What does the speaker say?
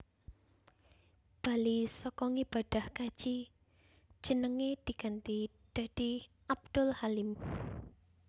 Bali saka ngibadah kaji jenenge diganti dadi Abdul Halim